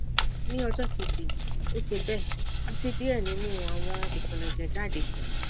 ni ọjọ keji o ṣe be ati diẹ ninu awọn ikunẹjẹ jade